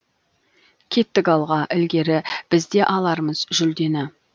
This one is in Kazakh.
кеттік алға ілгері біз де алармыз жүлдені